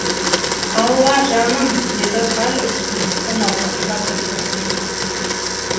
алла жаным деді хал үстіндегі науқасқа тіл кіріп